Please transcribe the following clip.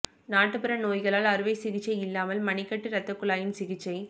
நாட்டுப்புற நோய்களால் அறுவை சிகிச்சை இல்லாமல் மணிக்கட்டு இரத்தக் குழாயின் சிகிச்சை